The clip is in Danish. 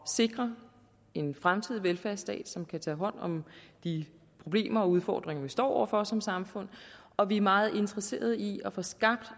sikre en fremtidig velfærdsstat som kan tage hånd om de problemer og udfordringer vi står over for som samfund og vi er meget interesserede i at få skabt